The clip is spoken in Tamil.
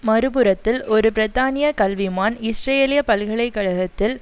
மறுபுறத்தில் ஒரு பிரித்தானிய கல்விமான் இஸ்ரேலிய பல்கலை கழகத்தில்